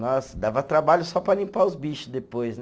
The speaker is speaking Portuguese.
Nossa, dava trabalho só para limpar os bicho depois, né?